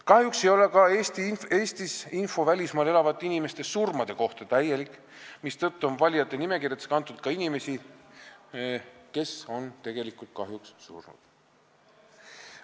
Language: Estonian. Kahjuks ei ole Eestis info välismaal elavate inimeste surmade kohta täielik, mistõttu on valijate nimekirjadesse kantud ka inimesi, kes on tegelikult surnud.